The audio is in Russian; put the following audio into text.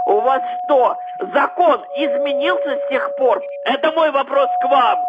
у вас что закон изменился с тех пор это мой вопрос к вам